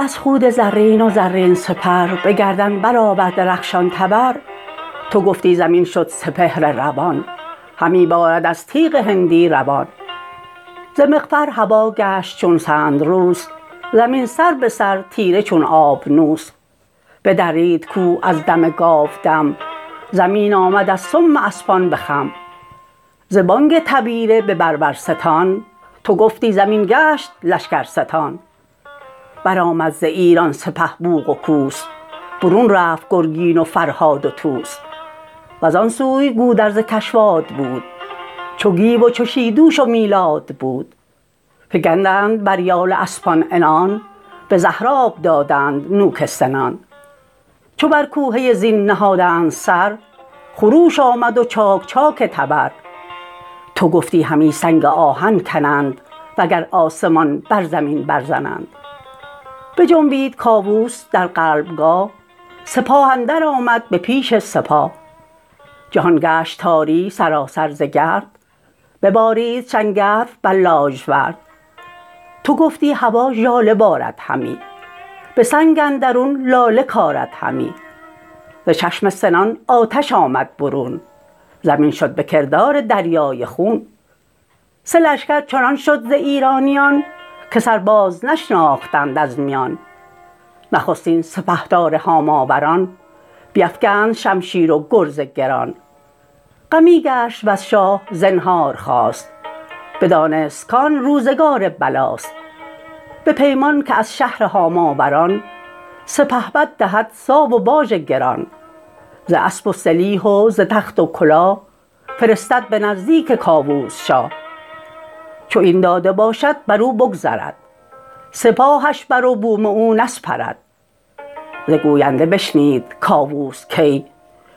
ازان پس چنین کرد کاووس رای که در پادشاهی بجنبد ز جای از ایران بشد تا به توران و چین گذر کرد ازان پس به مکران زمین ز مکران شد آراسته تا زره میانها ندید ایچ رنج از گره پذیرفت هر مهتری باژ و ساو نکرد آزمون گاو با شیر تاو چنین هم گرازان به بربر شدند جهانجوی با تخت و افسر شدند شه بربرستان بیاراست جنگ زمانه دگرگونه تر شد به رنگ سپاهی بیامد ز بربر به رزم که برخاست از لشکر شاه بزم هوا گفتی از نیزه چون بیشه گشت خور از گرد اسپان پراندیشه گشت ز گرد سپه پیل شد ناپدید کس از خاک دست و عنان را ندید به زخم اندر آمد همی فوج فوج بران سان که برخیزد از آب موج چو گودرز گیتی بران گونه دید عمود گران از میان برکشید بزد اسپ با نامداران هزار ابا نیزه و تیر جوشن گذار برآویخت و بدرید قلب سپاه دمان از پس اندر همی رفت شاه تو گفتی ز بربر سواری نماند به گرد اندرون نیزه داری نماند به شهر اندرون هرکه بد سالخورد چو برگشته دیدند باد نبرد همه پیش کاووس شاه آمدند جگرخسته و پرگناه آمدند که ما شاه را چاکر و بنده ایم همه باژ را گردن افگنده ایم به جای درم زر و گوهر دهیم سپاسی ز گنجور بر سر نهیم ببخشود کاووس و بنواختشان یکی راه و آیین نو ساختشان وزان جایگه بانگ سنج و درای برآمد ابا ناله کره نای چو آمد بر شهر مکران گذر سوی کوه قاف آمد و باختر چو آگاهی آمد بریشان ز شاه نیایش کنان برگرفتند راه پذیره شدندش همه مهتران به سر برنهادند باژ گران چو فرمان گزیدند بگرفت راه بی آزار رفتند شاه و سپاه سپه ره سوی زابلستان کشید به مهمانی پور دستان کشید ببد شاه یک ماه در نیمروز گهی رود و می خواست گه باز و یوز برین برنیامد بسی روزگار که بر گوشه گلستان رست خار کس از آزمایش نیابد جواز نشیب آیدش چون شود بر فراز چو شد کار گیتی بران راستی پدید آمد از تازیان کاستی یکی با گهر مرد با گنج و نام درفشی برافراخت از مصر و شام ز کاووس کی روی برتافتند در کهتری خوار بگذاشتند چو آمد به شاه جهان آگهی که انباز دارد به شاهنشهی بزد کوس و برداشت از نیمروز سپه شاد دل شاه گیتی فروز همه بر سپرها نبشتند نام بجوشید شمشیرها در نیام سپه را ز هامون به دریا کشید بدان سو کجا دشمن آمد پدید بی اندازه کشتی و زورق بساخت برآشفت و بر آب لشکر نشاخت همانا که فرسنگ بودی هزار اگر پای با راه کردی شمار همی راند تا در میان سه شهر ز گیتی برین گونه جویند بهر به دست چپش مصر و بربر به راست زره در میانه بر آن سو که خواست به پیش اندرون شهر هاماوران به هر کشوری در سپاهی گران خبر شد بدیشان که کاووس شاه برآمد ز آب زره با سپاه هم آواز گشتند یک با دگر سپه را سوی بربر آمد گذر یکی گشت چندان یل تیغ زن به بربرستان در شدند انجمن سپاهی که دریا و صحرا و کوه شد از نعل اسپان ایشان ستوه نبد شیر درنده را خوابگاه نه گور ژیان یافت بر دشت راه پلنگ از بر سنگ و ماهی در آب هم اندر هوا ابر و پران عقاب همی راه جستند و کی بود راه دد و دام را بر چنان رزمگاه چو کاووس لشکر به خشکی کشید کس اندر جهان کوه و صحرا ندید جهان گفتی از تیغ وز جوشن است ستاره ز نوک سنان روشن است ز بس خود زرین و زرین سپر به گردن برآورده رخشان تبر تو گفتی زمین شد سپهر روان همی بارد از تیغ هندی روان ز مغفر هوا گشت چون سندروس زمین سر به سر تیره چون آبنوس بدرید کوه از دم گاودم زمین آمد از سم اسپان به خم ز بانگ تبیره به بربرستان تو گفتی زمین گشت لشکرستان برآمد ز ایران سپه بوق و کوس برون رفت گرگین و فرهاد و طوس وزان سوی گودرز کشواد بود چو گیو و چو شیدوش و میلاد بود فگندند بر یال اسپان عنان به زهر آب دادند نوک سنان چو بر کوهه زین نهادند سر خروش آمد و چاک چاک تبر تو گفتی همی سنگ آهن کنند وگر آسمان بر زمین برزنند بجنبید کاووس در قلب گاه سپاه اندرآمد به پیش سپاه جهان گشت تاری سراسر ز گرد ببارید شنگرف بر لاژورد تو گفتی هوا ژاله بارد همی به سنگ اندرون لاله کارد همی ز چشم سنان آتش آمد برون زمین شد به کردار دریای خون سه لشکر چنان شد ز ایرانیان که سر باز نشناختند از میان نخستین سپهدار هاماوران بیفگند شمشیر و گرز گران غمی گشت وز شاه زنهار خواست بدانست کان روزگار بلاست به پیمان که از شهر هاماوران سپهبد دهد ساو و باژ گران ز اسپ و سلیح و ز تخت و کلاه فرستد به نزدیک کاووس شاه چو این داده باشد برو بگذرد سپاهش بروبوم او نسپرد ز گوینده بشنید کاووس کی